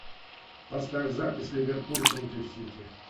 поставь запись ливерпуль против сити